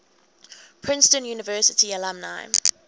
princeton university alumni